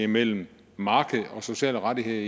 mellem markedet og sociale rettigheder